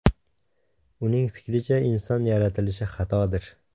Uning fikricha, inson yaratilishi xatodir.